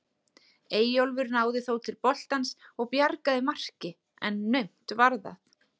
Eyjólfur náði þó til boltans og bjargaði marki en naumt var það.